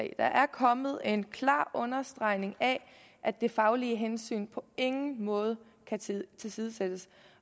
kommet en klar understregning af at det faglige hensyn på ingen måde kan tilsidesættes